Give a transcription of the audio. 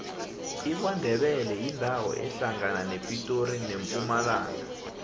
ikwandebele yindawo ehlangana nepitori nempumalanga